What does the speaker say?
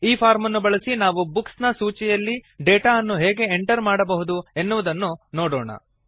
ಈ ಫಾರ್ಮ್ ಅನ್ನು ಬಳಸಿ ನಾವು ಬುಕ್ಸ್ ಸೂಚಿಯಲ್ಲಿ ಡೇಟಾ ಅನ್ನು ಹೇಗೆ ಎಂಟರ್ ಮಾಡಬಹುದು ಎನ್ನುವುದನ್ನು ನೋಡೋಣ